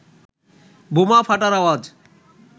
বোমা ফাটার আওয়াজ